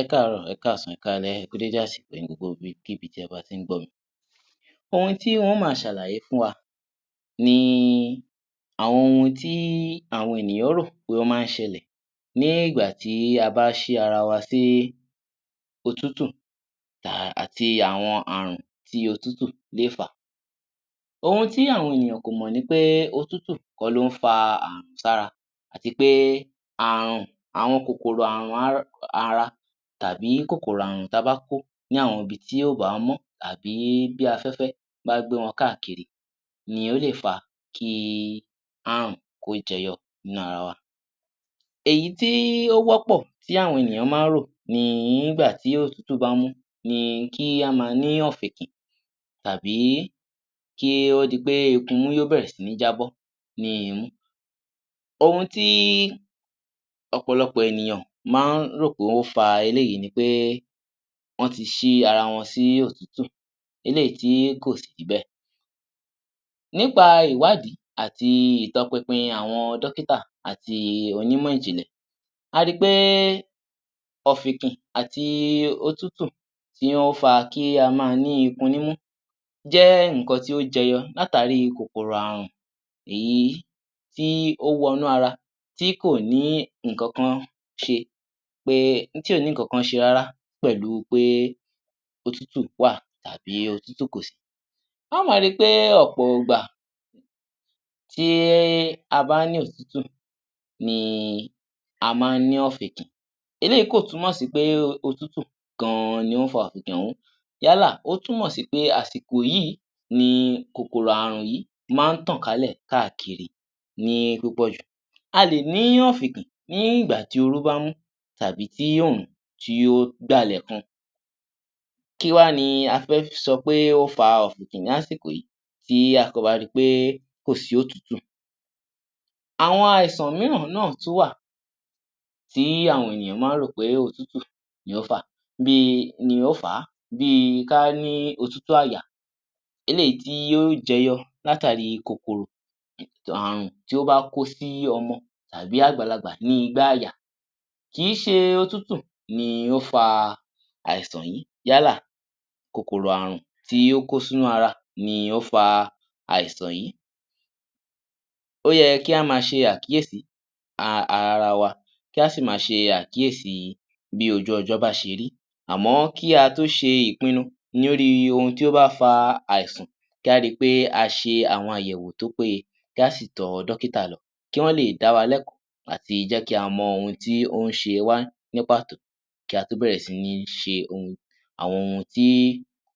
Ẹkáàárọ̀ ẹkáàsán ẹkáalẹ́, ẹ kú dédé àsìkò yìí ní gbogbo ibi kíbi tí ẹ bá ti ń gbọ́ mi. Ohun tí má ó ma ṣàlàyé fún wa ní àwọn ohun tí àwọn ènìyàn rò ní pé ó máa ń ṣẹlẹ̀ nígbà tí a bá ṣí ara wa sí òtútù tààrà àti awkn àrùn tí òtútù lè fà, ohun tí àwọn ènìyàn kò mọ̀ ni pé òtútù kọ̀ ló ń fa àrùn sí ara àti pé àrùn àwọn kòkòrò ara tàbí kòkòrò àrùn tí a bá kó ni àwọn ibi tí kò bá mọ́ tàbí bí afẹ́fẹ́ bá gbé wọn káàkiri ní o lè fà kí àrùn kó jẹyọ nínú ara wa. Èyí tí ó wọ́pọ̀ tí àwọn ènìyàn máa ń rò ni nígbà tí òtútù bá mú ní kí a má ni ọ̀fèkì tàbí kó di pé ikun imú bẹ̀rẹ̀ sí ní jábọ́ nínú imú. Ohun tí ọ̀pọ̀lọpọ̀ ènìyàn máa ń rò pé ó fa eléyìí ni pé wọ́n ti ṣí ara wọn sí òtútù eléyìí tí kò sì rí bẹ̀. Nípa ìwádìí àti ìtọ́npinpin àwọn dókítà àti onímọ̀ ìjìnlè, a ri pé ọ̀fèkì àti òtútù tí ó fa kí a ma ní ikun ní imú jẹ́ nǹkan tí ó jeyọ látàrí kòkòrò àrùn tí ó wọ inú ara ti kò ní nǹkan kan ṣe rárá pẹ̀lú pé òtútù wà tàbí òtútù kò sí. Á ma ri pé ọ̀pọ̀ ìgbà tí a bá ní òtútù ni a máa ní ọ̀fèkì, eléyìí kò túmọ̀ sí pé òtútù gan-an ní ó fa ọ̀fèkì òhún yálà ó túmọ̀ sí pé àsìkò yìí ni kòkòrò àrùn yìí máa ń tọ̀ kálẹ̀ káàkiri ní púpọ̀ jù. A lè ní ọ̀fèkì ní ìgbà tí òru bá ń mú tàbí tí ọrùn ó dálẹ̀ gan. Kí wá ni a fẹ́ sọ pé ó fa ọ̀fèkì ní àsìkò yìí tí a bá rí pé kò sí òtútù, àwọn àìsàn mìíràn náà tún wà tí àwọn ènìyàn máa ń rò pé òtútù ní ó fà á bí kí a ní òtútù àyà, eléyìí tí yóò jeyọ látàrí kòkòrò àrùn tí ó bá kó sí ọmọ tàbí àgbàlagbà ní igbá àyà. Kì í ṣe òtútù ló fa àìsàn yìí, yálà kòkòrò àrùn tí ó kó sí inú ara ní o fa àìsàn yìí, ó yẹ kí a má ṣe àkíyèsí ara wa kí a sì ma ṣe àkíyèsí bí ojú ọjọ́ bá ṣe rí àmọ́ kí a to ṣe ìpínu lórí ohun tí ó máa ń fa àìsàn kí a ri pé a ṣe àwọn àyẹ̀wò tí ó péye kí a sì tọ dókítà lọ kí wọn lé da wa lẹ́kọ̀ọ́ àti jẹ́ kí a mọ ohun tí ó n ṣe wá ní pàtó kí a tó bẹ̀rẹ̀ sí ní ṣe àwọn ohun tí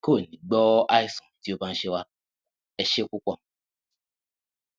kò ní gbọ́ àwọn àìsàn tí ó bá ń ṣe wá. Ẹ ṣe púpọ̀